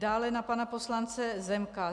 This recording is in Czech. Dále na pana poslance Zemka.